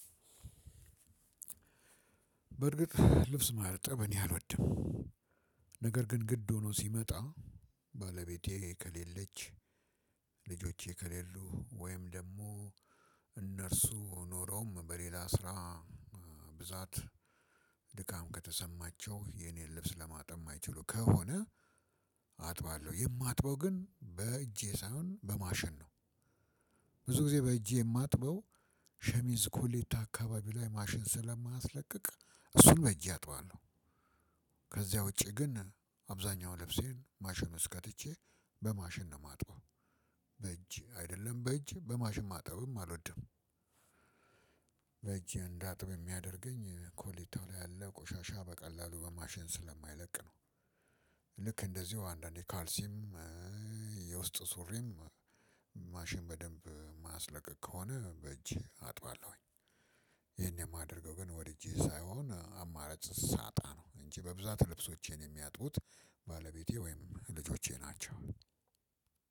በርግጥ ልብስ ማጠብ እኔ አልወድም። ነገር ግን ግድ ሆኖ ሲመጣ ባለቤቴ ከሌለች ልጆቼ ከሌሉ ወይም ደግሞ እነርሱ ኖሮም በሌላ ስራ ብዛት ድካም ከተሰማቸው የኔን ልብስ ለማጠም የማይችሉም ከሆነ አጥባለሁ የማጥበው ግን በእጄ ሳይሆን በማሽን ነው። ብዙ ጊዜ በእጄ የማጥበው ሸሚዝ ኮሌታ አካባቢ ላይ ማሽን ስለማያስለቅቅ እሱን በጄ አጥባለሁ። ከዚያ ውጪ ግን አብዛኛው ልብሴን ማሽን ውስጥ ከትቼ በማሽን ነው የማጥባ። በእጅ አይደለም በእጅ በማሽን ማጠብም አልወድም። በእጄ እንዳጥብ የሚያደርገኝ ኮሌታው ላይ ያለ ቆሻሻ በቀላሉ በማሽን ስለማይለቅ ነው። ልክ እንደዚሁ አንዳንዴ ካልሲም የውስጥ ሱሪም ማሽን በደንብ ማያስለቀቅ ከሆነ በእጄ አጥባለሁኝ። ይሄን የማደርገው ግን ወድጄ ሳይሆን አማራጭ ሳጣ ነው እንጂ በብዛት ልብሶቼን የሚያጡት ባለቤቴ ወይም ልጆቼ ናቸው።